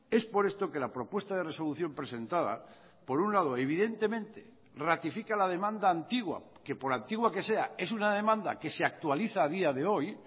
es por esto que la propuesta de resolución presentada por un lado evidentemente ratifica la demanda antigua que por antigua que sea es una demanda que se actualiza a día de hoy